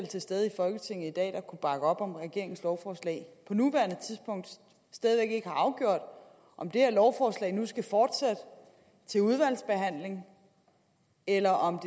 til stede i folketinget i dag der kunne bakke op om regeringens lovforslag på nuværende tidspunkt stadig væk ikke har afgjort om det her lovforslag nu skal fortsætte til udvalgsbehandling eller om